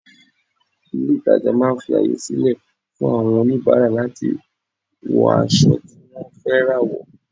Ilé ìtàjà máà ń fi àyè sílẹ̀ fún àwọn oníbàárà láti wọ aṣọ tí wọ́n fẹ́ rà wò.